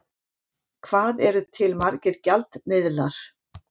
Hvað eru til margir gjaldmiðlar?